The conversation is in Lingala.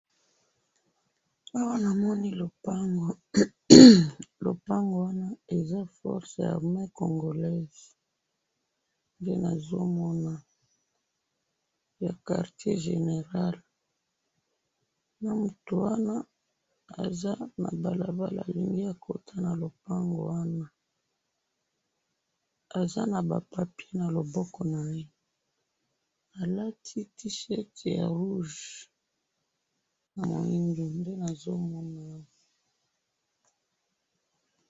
Awa namoni lopango, lopango wana eza FORCES ARMEES CONCOLAISES nde nazomona GRAND QUARTIER GENERAL, nde mutu wana aza na balabala alingi akota na lopango wana, aza naba papier naloboko naye, alati tee-chirt ya rouge, nde namoni awa